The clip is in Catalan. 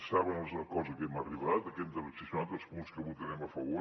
saben els acords a què hem arribat a què hem transaccionat els punts que votarem a favor